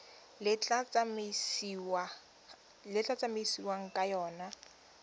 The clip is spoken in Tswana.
le tla tsamaisiwang ka yona